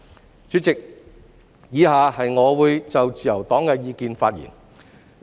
代理主席，以下我會就自由黨的意見發言。